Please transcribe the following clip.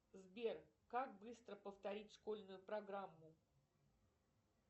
сбер как быстро повторить школьную программу